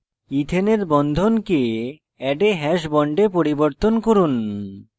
ইথেনের বন্ধনকে add a hash bond a পরিবর্তন করুন